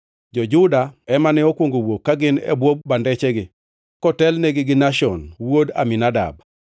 Jo-Juda ema ne okwongo wuok ka gin e bwo bandechgi, kotelnegi gi Nashon wuod Aminadab.